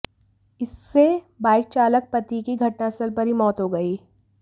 इससे बाइक चालक पति की घटनास्थल पर ही मौत हो गई